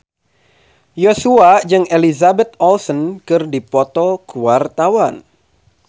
Joshua jeung Elizabeth Olsen keur dipoto ku wartawan